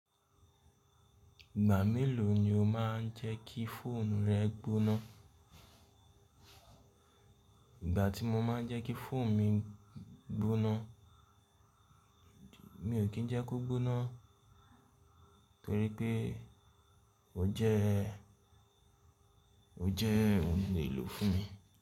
Ìgbà mélòó ni o máa ń jẹ́ kí fóònù rẹ gbóná? Ìgbà tí mo máa ń jẹ́ kí fóònù mi gbóná, mi ò kí ń jẹ́ kó gbóná torí pé ó jẹ́ o je ohun elò fún mi.